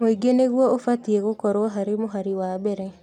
Mũingĩ nĩgũo ũbatiĩ gũkorwo harĩ mũhari wa mbere